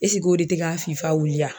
o de te ka fifa wuli a?